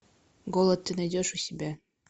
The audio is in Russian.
голод ты найдешь у себя